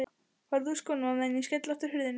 Farðu úr skónum á meðan ég skelli aftur hurðinni.